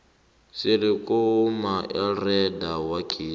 sele kunamaelrada wegezi